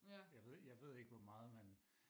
jeg ved ikke jeg ved ikke hvor meget man